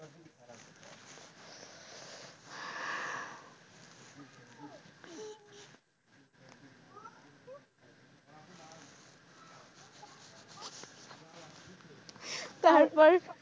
তারপর?